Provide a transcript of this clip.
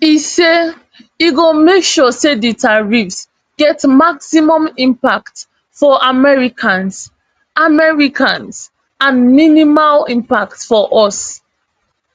e say e go make sure say di tariffs get maximum impact for americans americans and minimal impacts for us